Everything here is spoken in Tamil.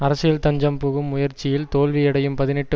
அரசியல் தஞ்சம் புகும் முயற்சியில் தோல்வியடையும் பதினெட்டு